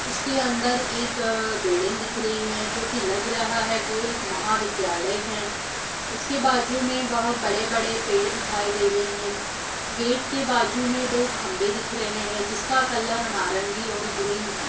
उसके अंदर एक बिल्डिंग दिख रही है। जो की लग रहा है वो एक महाविद्यालय है। उसके बाजु मै बहुत बड़े-बड़े पेड़ दिखाई दे रहे है। गेट के बाजु मै दो खम्भे दिख रहे है। जिसका कलर नारंगी और ग्रीन है।